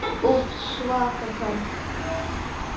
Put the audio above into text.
Úff, svaka karl.